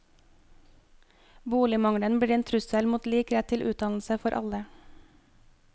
Boligmangelen blir en trussel mot lik rett til utdannelse for alle.